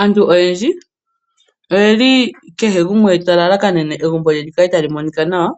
Aantu oyendji kehe gumwe ota lalakanene egumbo lye li kale tali monika nawa,